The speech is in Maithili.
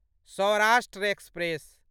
सौराष्ट्र एक्सप्रेस